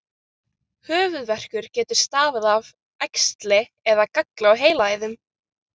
Höfuðverkur getur stafað af æxli eða galla á heilaæðum.